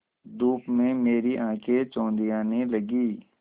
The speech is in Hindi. धूप में मेरी आँखें चौंधियाने लगीं